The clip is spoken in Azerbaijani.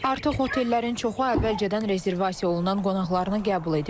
Artıq otellərin çoxu əvvəlcədən rezervasiya olunan qonaqlarını qəbul edib.